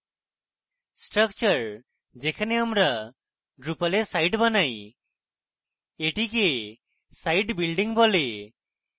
structure যেখানে আমরা drupal we site বানাই এটি site building বলে